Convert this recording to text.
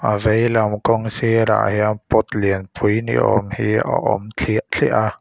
a veilam kawng sirah hian pot lianpui ni awm hi a awm thliah thliah a.